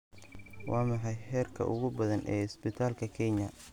waa maxay heerka ugu badan ee isbadalka kenya